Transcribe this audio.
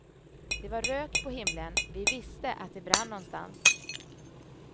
Det var rök på himlen, vi visste att det brann någonstans.